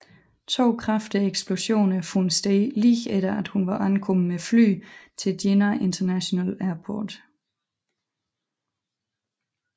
To kraftige eksplosioner fandt sted lige efter at hun var ankommet med fly til Jinnah International Airport